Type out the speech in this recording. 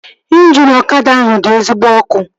Ịnjini ọkada ahụ dị ezigbo ọkụ